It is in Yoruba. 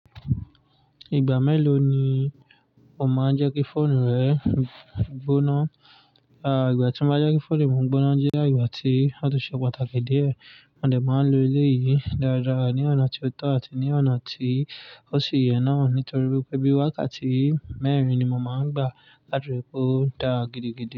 Ìgbà mélòó ni o máa ń jẹ́ kí fóònù rẹ gbóná? À, ìgbà tí mo bá jẹ́ kí fóònù mi gbóná jẹ́ ìgbà tí ó ti ṣe pàtàkì díẹ̀. A dẹ̀ máa ń lo elé yìí dáradára ní ọ̀nà tí ó tọ́ àti ní ọ̀nà tí ó ṣì yẹ náà nítorí pé bí wákàtí mẹ́rin ni mo máa ń gbà láti rí i pé ó ń dára gidigidi.